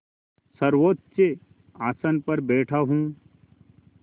सर्वोच्च आसन पर बैठा हूँ